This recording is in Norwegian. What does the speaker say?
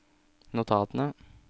notatene